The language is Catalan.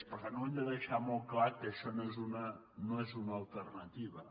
per tant hem de deixar molt clar que això no és una alternativa